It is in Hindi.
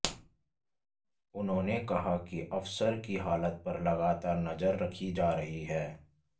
उन्होंने कहा कि अफसर की हालत पर लगातार नजर रखी जा रही है